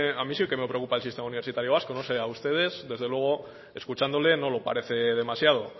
a mi sí que me preocupa el sistema universitario vasco yo no sé sí a ustedes desde luego escuchándole no lo parece demasiado